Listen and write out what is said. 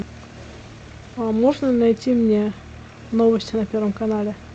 а можно найти мне новости на первом канале